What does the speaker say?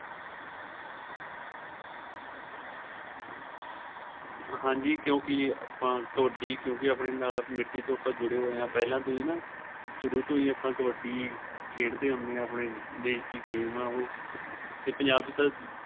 ਹਾਂਜੀ ਕਿਉਂਕਿ ਆਪਾ ਕਬੱਡੀ ਕਿਉਂਕਿ ਆਪਣੇਂ ਨਾਲ ਮਿੱਟੀ ਤੋ ਆਪਾ ਜੁੜੇ ਹੋਏ ਏ ਪਹਿਲਾਂ ਤੋ ਹੀ ਸ਼ੁਰੂ ਤੋ ਹੀ ਆਪਾ ਕਬੱਡੀ ਖੇਡਦੇ ਹੁੰਦੇ ਆਂ ਆਪਣੇਂ ਦੇਸ਼ ਦੀ ਉਹ team ਆਂ ਉਹ ਤੇ ਪੰਜਾਬ ਤਾਂ